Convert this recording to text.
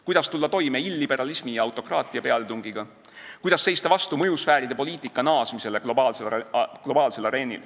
Kuidas tulla toime illiberalismi ja autokraatia pealetungiga, kuidas seista vastu mõjusfääride poliitika naasmisele globaalsel areenil?